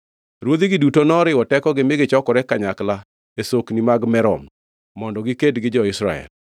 Ruodhigi duto noriwo tekogi mi gichokore kanyakla e Sokni mag Merom, mondo giked gi jo-Israel.